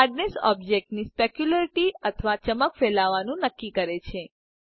hardness ઑબ્જેક્ટની સ્પેક્યુલ્રીરીટી અથવા ચમક ફેલાવવા નું નક્કી કરે છે